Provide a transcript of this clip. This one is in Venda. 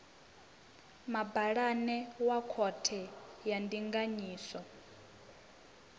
mabalane wa khothe ya ndinganyiso